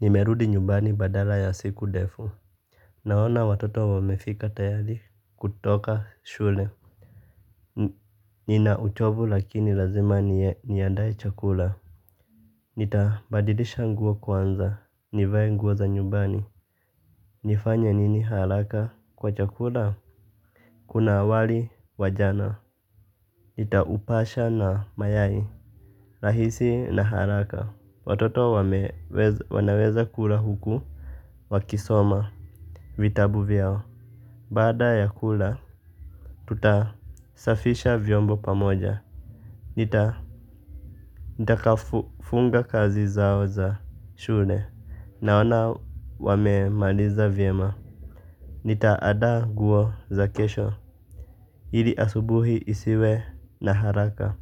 Nimerudi nyumbani badala ya siku ndefu. Naona watoto wamefika tayari kutoka shule. Nina uchovu lakini lazima niandae chakula. Nitabadilisha nguo kwanza nivae nguo za nyumbani. Nifanya nini haraka kwa chakula. Kuna awali wa jana. Nitaupasha na mayai. Rahisi na haraka. Watoto wanaweza kula huku Wakisoma Vitabu vyao baada ya kula tutasafisha vyombo pamoja. Nitakafunga kazi zao za shule. Naona wamemaliza vyema. Nitaada nguo za kesho. Ili asubuhi isiwe na haraka